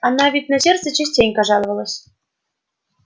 она ведь на сердце частенько жаловалась